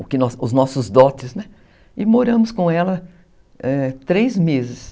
os nossos dotes, né, e moramos com ela três meses.